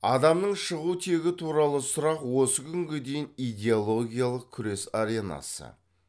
адамның шығу тегі туралы сұрақ осы күнге дейін идеологиялық күрес аренасы